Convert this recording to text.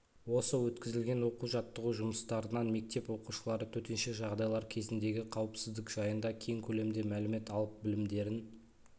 осы өткізілген оқу-жаттығу жұмыстарынан мектеп оқушылары төтенше жағдайлар кезіндегі қауіпсіздік жайында кең көлемде мәлімет алып білімдерін